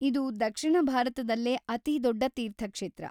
ಇದು ದಕ್ಷಿಣ ಭಾರತದಲ್ಲೇ ಅತಿದೊಡ್ಡ ತೀರ್ಥಕ್ಷೇತ್ರ.